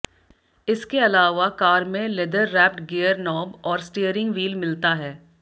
इसके अलावा कार में लेदर रैप्ड गियर नॉब और स्टीयरिंग व्हील मिलता है